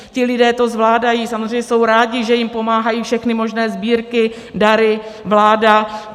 Ti lidé to zvládají, samozřejmě jsou rádi, že jim pomáhají všechny možné sbírky, dary, vláda.